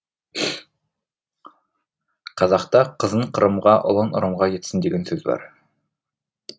қазақта қызың қырымға ұлың ұрымға кетсін деген сөз бар